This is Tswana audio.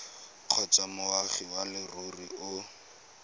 kgotsa moagi wa leruri o